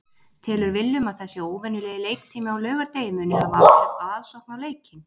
Telur Willum að þessi óvenjulegi leiktími á laugardegi muni hafa áhrif á aðsókn á leikinn?